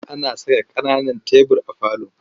Ana saka ƙananan tebur a falo.